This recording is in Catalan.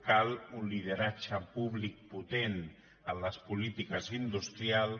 cal un lideratge públic potent en la polítiques industrials